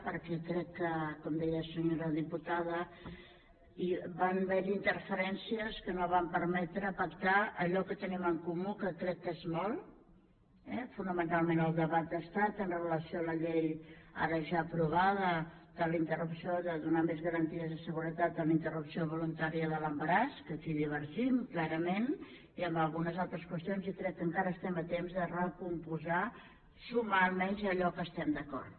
perquè crec que com deia senyora diputada van haver hi interferències que no van permetre pactar allò que tenim en comú que crec que és molt eh fonamentalment al debat d’estat amb relació a la llei ara ja aprovada de donar més garanties de seguretat en la interrupció voluntària de l’embaràs que aquí divergim clarament i en algunes altres qüestions i crec que encara som a temps de recompondre sumar almenys allò en què estem d’acord